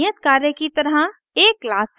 एक नियत कार्य की तरह :